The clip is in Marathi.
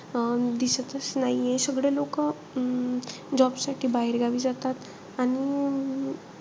अं दिसतचं नाहीये. सगळे लोकं अं job साठी बाहेरगावी जातात. आणि अं